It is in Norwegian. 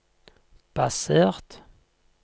basert